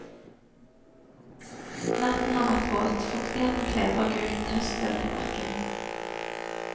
Natten har vært våt, fuktigheten kleber gult høstløv til bakken.